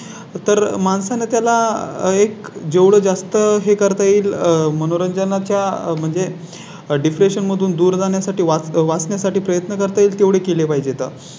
तर माणसा ने त्याला एक जेवढं जास्त हे करता येईल. मनोरंजना च्या म्हणजे Depression मधून दूर जाण्या साठी वाचवण्या साठी प्रयत्न करता येईल तेवढी केली पाहिजेत.